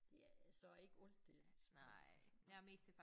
Det er så ikke alt der smager godt